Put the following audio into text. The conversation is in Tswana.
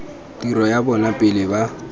tiro ya bona pele ba